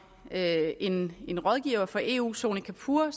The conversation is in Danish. en en rådgiver fra eu sony kapoor